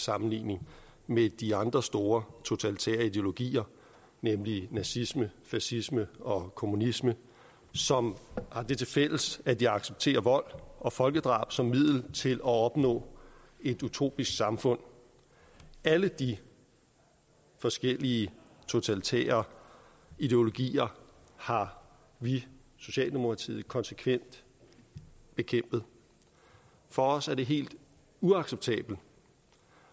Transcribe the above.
sammenligning med de andre store totalitære ideologier nemlig nazisme fascisme og kommunisme som har det tilfælles at de accepterer vold og folkedrab som middel til at opnå et utopisk samfund alle de forskellige totalitære ideologier har vi i socialdemokratiet konsekvent bekæmpet for os er det helt uacceptabelt